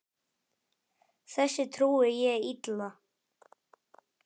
Þessu trúi ég illa.